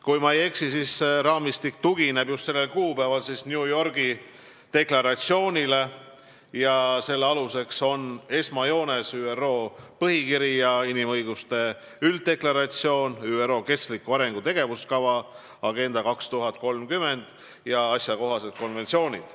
Kui ma ei eksi, siis see raamistik tugineb just sellel kuupäeval New Yorgis heakskiidetud deklaratsioonile ja selle aluseks on esmajoones ÜRO põhikiri ja inimõiguste ülddeklaratsioon, ÜRO kestliku arengu tegevuskava ja asjakohased konventsioonid.